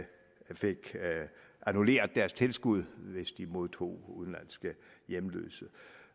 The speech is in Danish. fik annulleret deres tilskud hvis de modtog udenlandske hjemløse